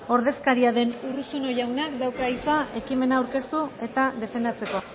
ordezkaria den urruzuno jaunak dauka hitza ekimena aurkeztu eta defendatzeko